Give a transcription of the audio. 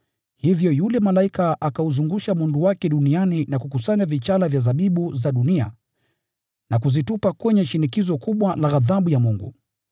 Hivyo yule malaika akauzungusha mundu wake duniani na kukusanya zabibu za dunia na kuzitupa kwenye shinikizo kubwa la ghadhabu ya Mungu.